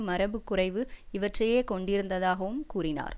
மரபுக் குறைவு இவற்றையே கொண்டிருந்ததாகவும் கூறினார்